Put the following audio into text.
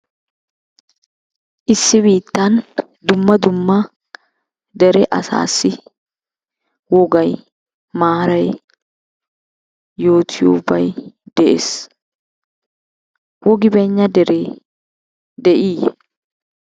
Issi biittan dumma dumma dere asaassi wogay, maaray, yootiyobay de'es. Wogi bayinna deree de'iiyye?